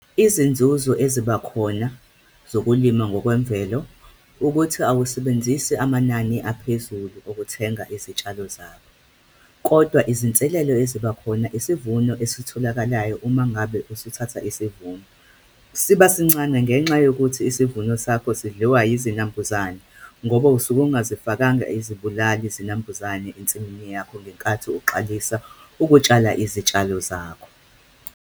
Izinzuzo eziba khona zokulima ngokwemvelo ukuthi awusebenzisi amanani aphezulu ukuthenga izitshalo zakho, kodwa izinselelo eziba khona isivuno esitholakalayo uma ngabe usuthatha isivuno, siba sincane ngenxa yokuthi isivuno sakho zidliwa izinambuzane, ngoba usuke ungazifakanga izibulali zinambuzane ensimini yakho ngenkathi uqalisa ukutshala izitshalo zakho.